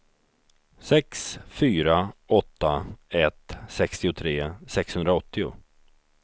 sex fyra åtta ett sextiotre sexhundraåttio